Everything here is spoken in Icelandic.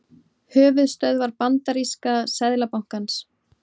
Höfuðstöðvar bandaríska seðlabankans.